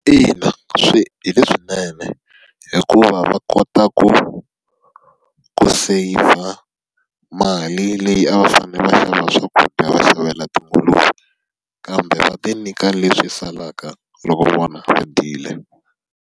Ina hi leswinene hikuva va kota ku ku saseyivha mali leyi a va fanele va xava swakudya va xavela tinguluve. Kambe va ti nyika leswi salaka loko vona va dyile.